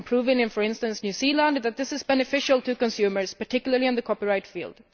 It has been proven, for instance, in New Zealand that this is beneficial to consumers, particularly in the copyright field.